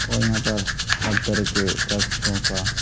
कोई न कोई हाथ धर के वृक्षों का --